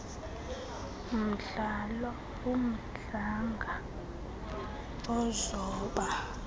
mdlalo umdlanga uzoba